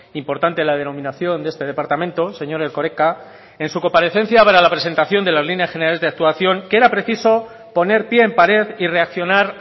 importante la denominación de este departamento señor erkoreka en su comparecencia para la presentación de las líneas generales de la actuación que era preciso poner pie en pared y reaccionar